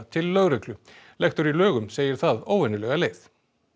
til lögreglu lektor í lögum segir það óvenjulega leið